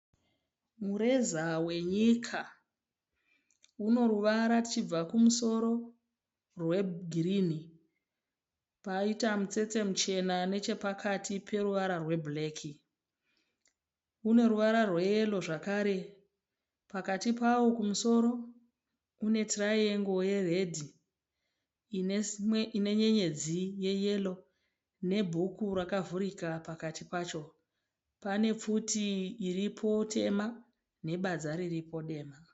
Mureza wenyika, unoruvara tichibva kumusoro rwegirinhi paita mutsetse muchena nechepakati peruvara rwebhureki. Unoruvara rweyero zvakare pakati pawo kumusoro kune tiraiengo yeredhi inenyenyedzi yeyero nebhuku rakavhurika pakati pacho. Pane pfuti iripo tema nebadza riripo dema.